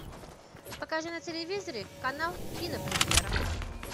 покажи на телевизоре канал кинопремьера